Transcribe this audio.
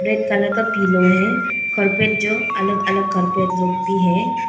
Red colour का pillow है carpet जो अलग अलग कार्पेट लोग भी है।